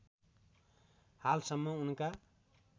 हाल सम्म उनका